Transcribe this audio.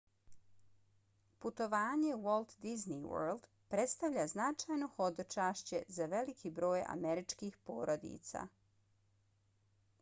putovanje u walt disney world predstavlja značajno hodočašće za veliki broj američkih porodica